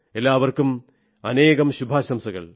ഏവർക്കും അനേകം ശുഭാശംകൾ